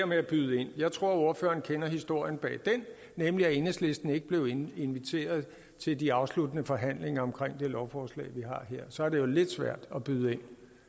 med at byde ind jeg tror at ordføreren kender historien bag den nemlig at enhedslisten ikke blev inviteret til de afsluttende forhandlinger omkring det lovforslag vi har her så er det jo lidt svært at byde